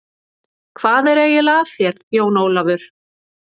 Hvað er eiginlega að þér, Jón Ólafur?